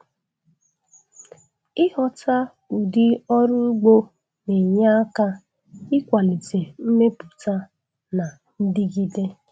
Ịghọta ụdị ọrụ ugbo na-enye aka ịkwalite mmepụta na ndigide.